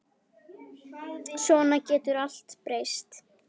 Svona getur allt breyst.